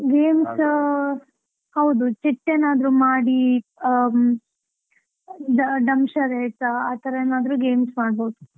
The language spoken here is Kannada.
Games ಆ, ಹೌದು chit ಏನಾದ್ರೂ ಮಾಡಿ ಮಾಡಿ ಅ dumb charades , ಆತರಾ ಏನಾದ್ರೂ games ಮಾಡ್ಬೋದು?